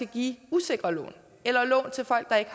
give usikre lån eller lån til folk der ikke